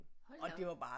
Hold da op